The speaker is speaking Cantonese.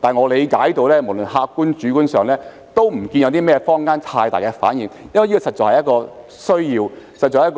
不過，據我理解，無論在客觀、主觀上也看不到坊間有太大的反應，因為這實在是一種需要，是